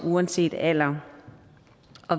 uanset alder